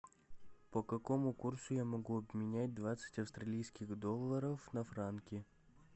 по какому курсу я могу обменять двадцать австралийских долларов на франки